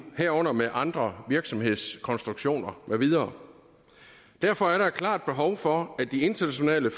herunder med andre virksomhedskonstruktioner med videre derfor er der et klart behov for at de internationale